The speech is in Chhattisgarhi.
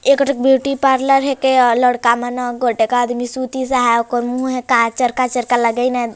एकरा ब्यूटी पार्लर हे केया लड़का मन ह गटका आदमी सूती से सहाये ओकर मुह मे काए चरका-चरका लगइन हे।